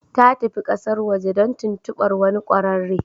Ta tafi kasar waje don tuntubar wani kwararre.